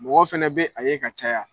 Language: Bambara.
Mɔgɔ fɛnɛ bɛ a ye ka caya.